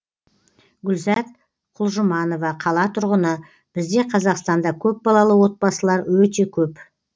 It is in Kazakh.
гүлзат құлжұманова қала тұрғыны бізде қазақстанда көпбалалы отбасылар өте көп